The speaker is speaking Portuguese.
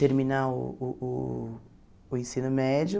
terminar uh uh uh o ensino médio.